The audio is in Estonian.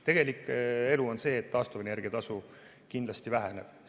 Tegelik elu on see, et taastuvenergia tasu kindlasti väheneb.